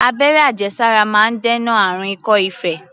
Abẹ́rẹ́ àjẹsára máa ń dènà àrùn ikọ́-ife.